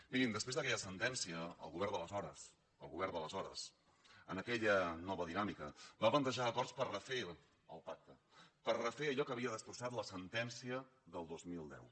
mirin després d’aquella sentència el govern d’aleshores el govern d’aleshores en aquella nova dinàmica va plantejar acords per refer el pacte per refer allò que havia destrossat la sentència del dos mil deu